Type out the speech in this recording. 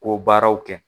Ko baaraw kɛ